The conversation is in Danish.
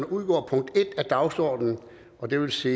udgår punkt en af dagsordenen det vil sige